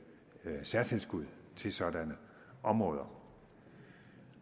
særtilskud til sådanne områder